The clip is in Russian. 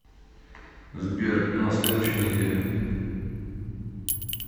сбер на следующей неделе